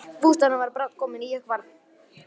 Bústaðurinn var brátt kominn í hvarf.